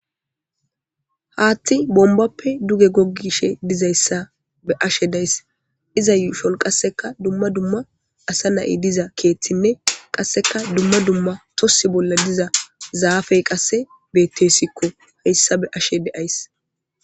Hathi bonibape duge gogishe dizayisa beses iza yushoni qaseka duma duma asana'i diza kethine qaseka duma duma tosa bolla diza zapey qase betesiko hesa be'ashe dizayis